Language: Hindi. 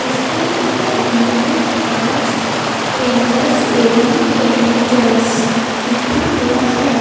इसके ऊपर विनोद आर्ट्स पेंटर्स एवं पेंटर्स लिखा हुआ है।